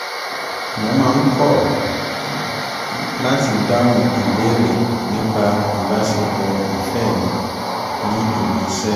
mo máa ń kọ̀ láti dáhùn ìbéèrè nípa ìbásepọ̀ ìfẹ́ mi ní ibi-iṣẹ́